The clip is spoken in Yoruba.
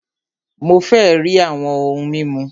Mó fẹ rí àwọn òhún mímu!